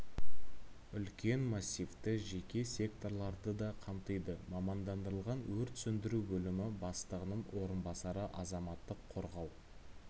үлкен массивті жеке секторларды да қамтиды мамандандырылған өрт сөндіру бөлімі бастығының орынбасары азаматтық қорғау